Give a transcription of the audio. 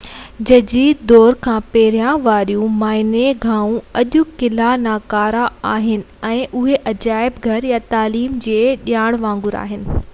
جديد دور کان پهرين واريون معائني گاهون اڄ ڪلهہ ناڪارا آهن ۽ اهي عجائب گهر يا تعليم جي جاين وانگر آهن